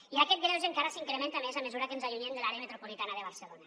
i aquest greuge encara s’incrementa més a mesura que ens allunyem de l’àrea metropolitana de barcelona